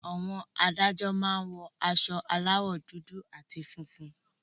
Àwọn Adájọ́ máa ń wọ aṣọ aláwọ̀ dúdú àti funfun